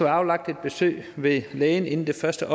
aflagt et besøg ved lægen inden det første